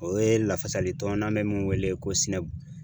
O ye lafasalitɔn n'an bɛ mun wele ko